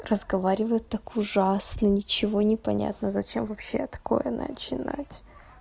разговаривает так ужасно ничего не понятно зачем вообще такое начинать